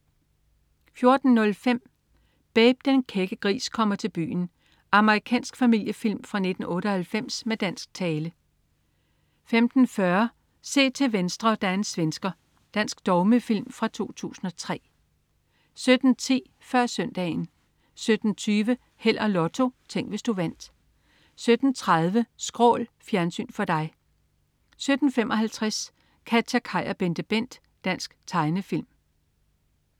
14.05 Babe, den kække gris, kommer til byen. Amerikansk familiefilm fra 1998 med dansk tale 15.40 Se til venstre, der er en svensker. Dansk dogmefilm fra 2003 17.10 Før Søndagen 17.20 Held og Lotto. Tænk, hvis du vandt 17.30 Skrål. Fjernsyn for dig 17.55 KatjaKaj og BenteBent. Dansk tegnefilm